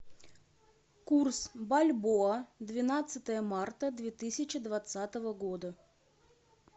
курс бальбоа двенадцатое марта две тысячи двадцатого года